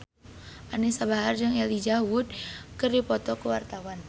Anisa Bahar jeung Elijah Wood keur dipoto ku wartawan